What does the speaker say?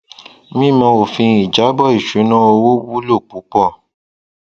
mímọ òfin ìjábọ ìṣúná owó wúlò púpọ